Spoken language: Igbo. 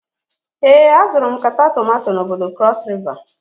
Ee, azụrụ m nkata tomato n'bodo cross river.